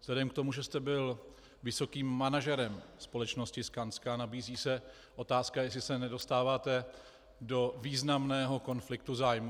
Vzhledem k tomu, že jste byl vysokým manažerem společnosti Skanska, nabízí se otázka, jestli se nedostáváte do významného konfliktu zájmů.